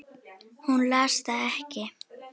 Hún las það ekki.